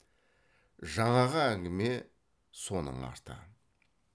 жаңағы әңгіме соның арты